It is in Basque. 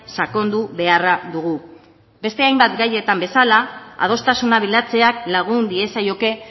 sakondu beharra dugu beste hainbat gaietan bezala adostasuna bilatzeak lagun diezaioke